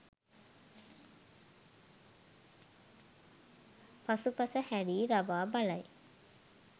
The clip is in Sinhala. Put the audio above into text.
පසුපස හැරී රවා බලයි.